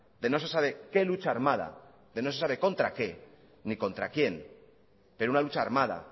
de no se sabe qué lucha armada de no se sabe contra qué ni contra quién pero una lucha armada